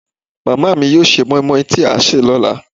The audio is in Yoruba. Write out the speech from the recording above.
màmá mi yóò sè moimoi tí a sè lọ́la